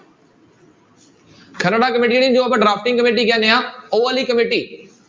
ਜਿਹਨੂੰ ਆਪਾਂ drafting committee ਕਹਿੰਦੇ ਹਾਂ ਉਹ ਵਾਲੀ ਕਮੇਟੀ